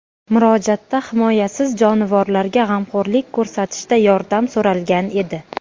Murojaatda himoyasiz jonivorlarga g‘amxo‘rlik ko‘rsatishda yordam so‘ralgan edi.